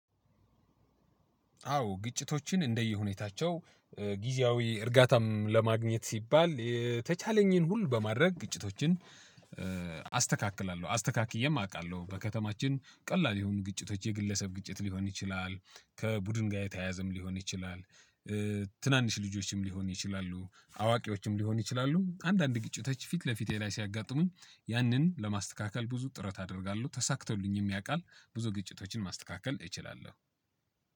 አዎ ግጭቶችን እንደየ ሁኔታቸው ጊዜያዊ እርጋታም ለማግኘት ሲባል የተቻለኝን ሁሉ በማድረግ ግጭቶችን። አስተካክላለሁ አስተካክዬም አውቃለሁ በከተማችን ቀላል የሆኑ ግጭቶች የግለሰብ ግጭት ሊሆን ይችላል ከቡድን ጋር የተያያዘም ሊሆን ይችላል። ትናንሽ ልጆችም ሊሆን ይችላሉ አዋቂዎችም ሊሆን ይችላሉ አንዳንድ ግጭቶች ፊት ለፊቴ ላይ ሲያጋጥሙኝ ያንን ለማስተካከል ብዙ ጥረት አደርጋለሁ ተሳክቶልኝ የሚያውቃል። ብዙ ግጭቶችን ማስተካከል እችላለሁ።